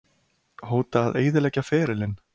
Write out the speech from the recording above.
Hóta að eyðileggja ferilinn?